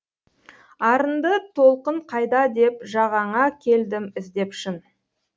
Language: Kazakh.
арынды толқын қайда деп жағаңа келдім іздеп шын